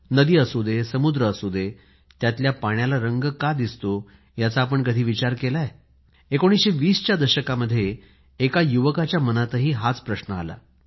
नदी असू दे समुद्र असू दे त्यातल्या पाण्याला रंग का दिसतोयाचा आपण कधी विचार केलाय 1920च्या दशकामध्ये एका युवकाच्या मनात हा प्रश्न आला